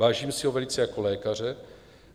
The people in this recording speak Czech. Vážím si ho velice jako lékaře.